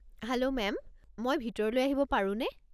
Hello ma'am, মই ভিতৰলৈ আহিব পাৰোনে?